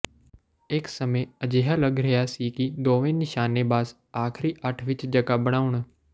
ਇੱਕ ਸਮੇਂ ਅਜਿਹਾ ਲੱਗ ਰਿਹਾ ਸੀ ਕਿ ਦੋਵੇਂ ਨਿਸ਼ਾਨੇਬਾਜ਼ ਆਖਰੀ ਅੱਠ ਵਿੱਚ ਜਗ੍ਹਾ ਬਣਾਉਣ